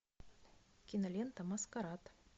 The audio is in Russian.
кинолента маскарад